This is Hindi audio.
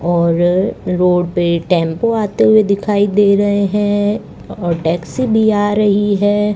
और रोड पे टेम्पो आते हुए दिखाई दे रहे है और टैक्सी भी आ रही है।